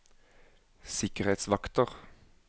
sikkerhetsvakter